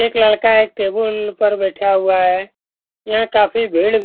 एक लड़का एक टेबुल पर बैठा हुआ है ये काफी भीड़ --